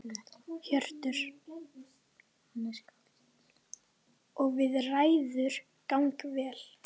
Hjörtur: Og viðræður ganga vel?